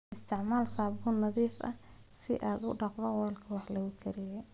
Isticmaal saabuun nadiif ah si aad u dhaqdo weelka wax lagu kariyo.